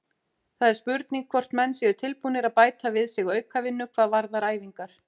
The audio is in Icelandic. Það er spurning hvort menn séu tilbúnir að bæta við sig aukavinnu hvað varðar æfingar.